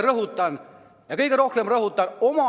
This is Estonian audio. "– rõhutan, kõige rohkem rõhutan!